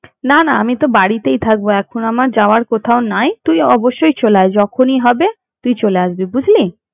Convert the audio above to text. না না আমি তো বাড়িতেই থাকবো কেমন আমার যাওয়ার কোথাও নাই তুই অবশ্যই চলে আয় যখনই হবে তুই চলে আসবি বুঝলি।